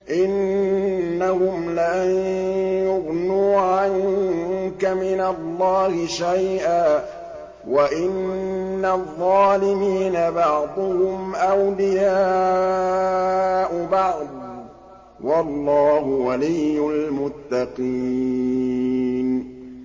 إِنَّهُمْ لَن يُغْنُوا عَنكَ مِنَ اللَّهِ شَيْئًا ۚ وَإِنَّ الظَّالِمِينَ بَعْضُهُمْ أَوْلِيَاءُ بَعْضٍ ۖ وَاللَّهُ وَلِيُّ الْمُتَّقِينَ